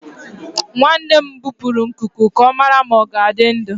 Nwanne m gbupụrụ nkuku ka ọ mara ma ọ ga-adị ndụ.